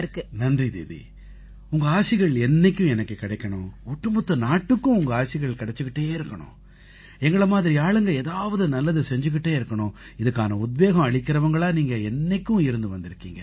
நன்றி தீதி உங்க ஆசிகள் என்னைக்கும் எனக்குக் கிடைக்கணும் ஒட்டுமொத்த நாட்டுக்கும் உங்க ஆசிகள் கிடைச்சுக்கிட்டே இருக்கணும் எங்களை மாதிரி ஆளுங்க ஏதாவது நல்லது செய்துக்கிட்டே இருக்கணும் இதுக்கான உத்வேகம் அளிக்கறவங்களா நீங்க என்னைக்கும் இருந்து வந்திருக்கீங்க